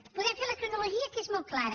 en podem fer la cronologia que és molt clara